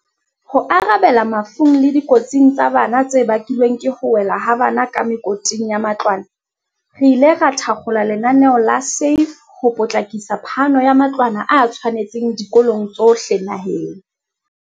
Ho arabela mafung le dikotsing tsa bana tse bakilweng ke ho wela ha bana ka mekoting ya matlwana, re ile ra thakgola lenaneo la SAFE ho potlakisa phano ya matlwana a tshwanetseng dikolong tsohle naheng.